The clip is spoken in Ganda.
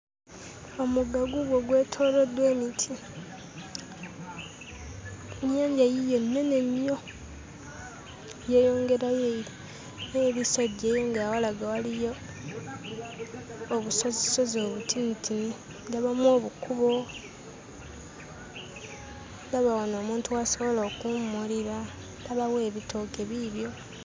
Omugga guugwo gwetooloddwa emiti nnyanja yiiyo nnene nnyo yeeyongerayo eri n'ebisejje nga walaga waliyo obusozisozi obutinitini ndabamu obukubo ndaba wano omuntu w'asobola okuwummulira ndabawo ebitooke biibyo.